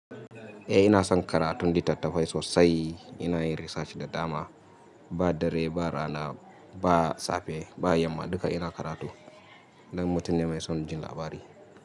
E ina son karatun littattafai sosai. Ina yin research da dama, ba dare ba rana, ba safe, ba yamma dukka ina karatu. Dan mutum ne mai son jin labari.